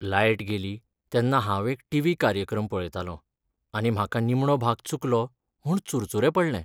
Light गेली तेन्ना हांव एक टिवी कार्यक्रम पळयतालों आनी म्हाका निमणो भाग चुकलो म्हूण चुरचुरे पडले.